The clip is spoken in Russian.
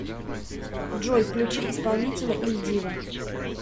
джой включи исполнителя иль диво